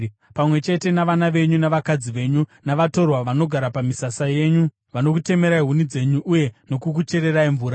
pamwe chete navana venyu navakadzi venyu, navatorwa vanogara pamisasa yenyu vanokutemerai huni dzenyu uye vanokukuchererai mvura.